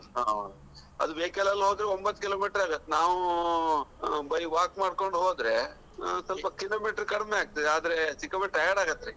ಹೌದು ಅದು vehicle ಲಲ್ಲೂ ಹೋದ್ರು ಒಂಬತ್ತು Kilometer ಅರಾಗತ್ತೆ ನಾವು ಬರಿ walk ಮಾಡ್ಕೊಂಡು ಹೋದ್ರೆ ಅಹ್ ಸ್ವಲ್ಪ Kilometer ಕಡಿಮೆಯಾಗ್ತದೆ ಆದ್ರೆ ಸಿಕ್ಕಾಪಟ್ಟೆ tired ಅಗಾತ್ರಿ.